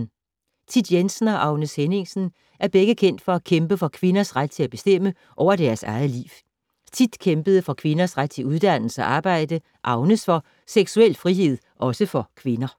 Thit Jensen og Agnes Henningsen er begge kendt for at kæmpe for kvinders ret til at bestemme over deres eget liv. Thit kæmpede for kvinders ret til uddannelse og arbejde, Agnes for seksuel frihed, også for kvinder.